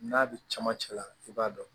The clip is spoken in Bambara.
N'a bɛ camancɛla i b'a dɔn